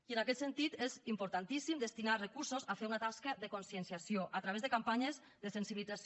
i en aquest sentit és importantíssim destinar recursos a fer una tasca de conscienciació a través de campanyes de sensibilització